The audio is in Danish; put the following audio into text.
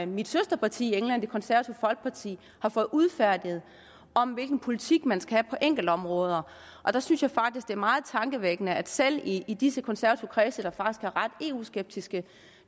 mit søsterparti i england det konservative folkeparti har fået udfærdiget om hvilken politik man skal have på enkeltområder der synes jeg faktisk er meget tankevækkende at selv i i disse konservative kredse der faktisk er ret eu skeptiske